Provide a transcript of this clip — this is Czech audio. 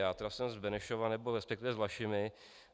Já tedy jsem z Benešova, nebo respektive z Vlašimi.